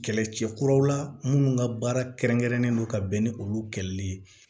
Kɛlɛcɛ kuraw la minnu ka baara kɛrɛn kɛrɛnlen don ka bɛn ni olu kɛlɛli ye